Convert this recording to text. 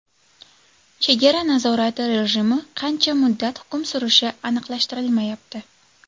Chegara nazorati rejimi qancha muddat hukm surishi aniqlashtirilmayapti.